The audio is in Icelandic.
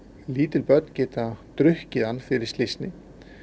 lítil börn geta drukkið hann fyrir slysni